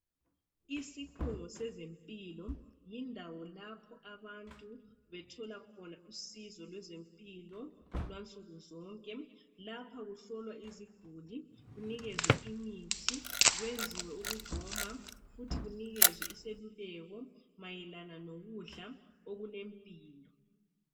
Isikhungo sezempilo yindawo lapho abantu bethola khona usizo lwezempilo lwansukuzonke lapha kuhlolwa iziguli kunikezwe imithi kwenziwe ukugoma futhi kunikezwe iseluleko mayelana lokudla okulempilo.